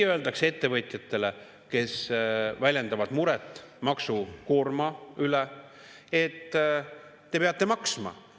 Ettevõtjatele, kes väljendavad muret maksukoorma üle, öeldakse: "Te peate maksma.